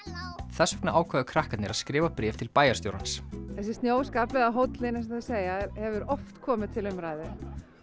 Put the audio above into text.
þess vegna ákváðu krakkarnir að skrifa bréf til bæjarstjórans þessi snjóskafl eða Hóllinn eins og þau segja hefur oft komið til umræðu